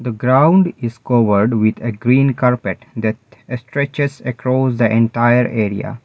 the ground is covered with a green carpet that stretches across the entire area.